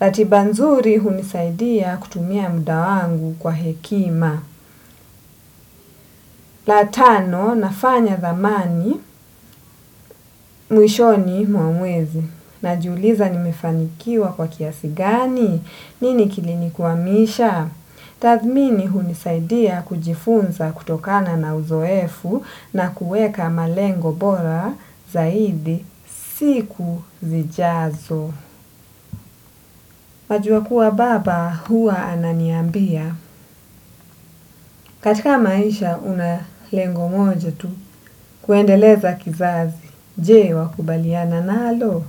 Ratiba nzuri hunisaidia kutumia muda wangu kwa hekima. La tano nafanya dhamani mwishoni mwa mwezi. Najiuliza nimefanikiwa kwa kiasi gani. Nini kilinikwamisha? Tathmini hunisaidia kujifunza kutokana na uzoefu na kuweka malengo bora zaidi siku zijazo. Wajua kuwa baba huwa ananiambia, katika maisha una lengo moja tu, kuendeleza kizazi, je wakubaliana nalo.